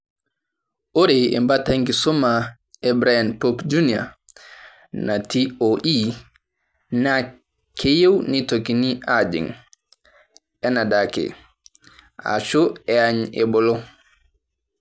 Ore embata enkisuma e BrianPopJr nati OE, naa keyiew neitokini aajing' anaadake, ashu eany ebolo.